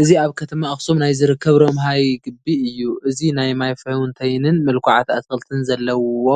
እዚ ኣብ ከተማ ኣኽሱም ናይ ዝርከብ ረምሃይ ግቢ እዩ፡፡ እዚ ናይ ማይ ፋውንተይንን ምልኩዓት ኣትክልትን ዘለዉዎ